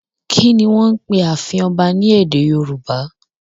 Kí ni wọ́n ń pe ààfin ọba ní èdè Yorùbá?